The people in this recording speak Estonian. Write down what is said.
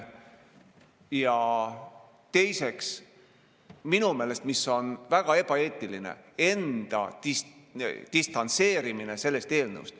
Ja teiseks, mis on minu meelest väga ebaeetiline: enda distantseerimine sellest eelnõust.